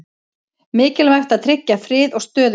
Mikilvægt að tryggja frið og stöðugleika